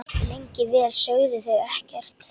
Lengi vel sögðu þau ekkert.